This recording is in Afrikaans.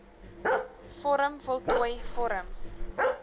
vorm voltooi vorms